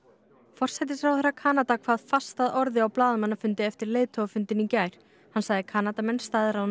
forsætisráðherra Kanada kvað fast að orði á blaðamannafundi eftir leiðtogafundinn í gær hann sagði Kanadamenn